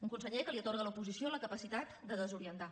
un conseller que atorga a l’oposició la capacitat de des orientar